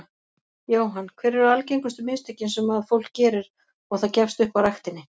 Jóhann: Hver eru algengustu mistökin sem að fólk gerir og það gefst upp á ræktinni?